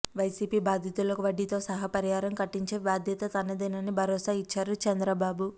YCP బాధితులకు వడ్డీతో సహా పరిహారం కట్టించే బాధ్యత తనదేనని భరోసా ఇచ్చారు చంద్రబాబు